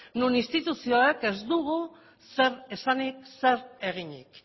non instituzioek ez dugu zer esanik zer eginik